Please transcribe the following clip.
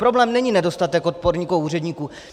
Problém není nedostatek odborníků a úředníků.